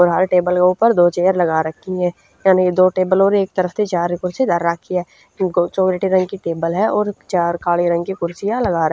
और हर टेबल क ऊपर दो चेयर लगा रखी ह यानि दो टेबल और एक तरफ त च्यार कुर्सी धर रखी ह ग चॉकलेटी रंग की टेबल ह और च्यार काले रंग की कुर्सियां लगा रा--